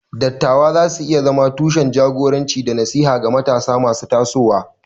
Dattawa za su iya zama tushen jagoranci da nasiha ga matasa masu tasowa.